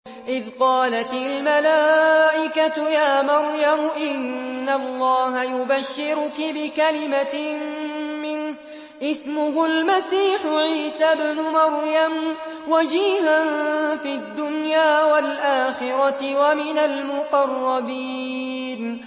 إِذْ قَالَتِ الْمَلَائِكَةُ يَا مَرْيَمُ إِنَّ اللَّهَ يُبَشِّرُكِ بِكَلِمَةٍ مِّنْهُ اسْمُهُ الْمَسِيحُ عِيسَى ابْنُ مَرْيَمَ وَجِيهًا فِي الدُّنْيَا وَالْآخِرَةِ وَمِنَ الْمُقَرَّبِينَ